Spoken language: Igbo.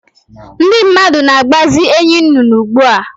Ndị mmadụ na-akpazi enyinnụnụ ugbu a